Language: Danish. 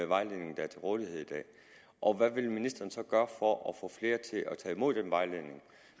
vejledning der er til rådighed i dag og hvad vil ministeren så gøre for at få flere til at tage imod den vejledning